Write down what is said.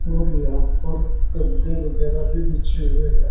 और यहां पर गद्दे वगैरा भी पीछे हुए हैं।